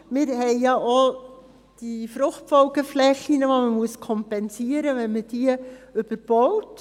Wir haben auch die Fruchtfolgeflächen, welche man kompensieren muss, wenn man sie überbaut.